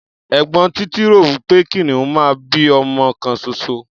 Ẹ̀gbọ́n Títí rò wí pé kìnìún máa ń bí ọmọ kan ṣoṣo.